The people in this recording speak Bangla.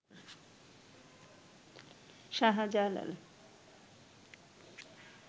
শাহজালাল